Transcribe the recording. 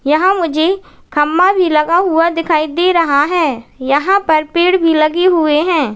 यहाँ मुझे खम्भा भी लगा हुआ दिखाई दे रहा है यहां पर पेड़ भी लगे हुए हैं।